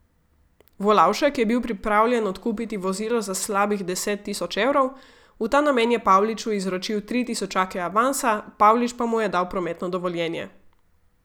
Volavšek je bil pripravljen odkupiti vozilo za slabih deset tisoč evrov, v ta namen je Pavliču izročil tri tisočake avansa, Pavlič pa mu je dal prometno dovoljenje.